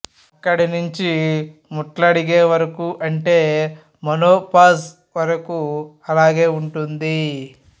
అక్కడి నుంచీ ముట్లుడిగే వరకూ అంటే మొనోపాజ్ వరకు అలాగే ఉంటుంది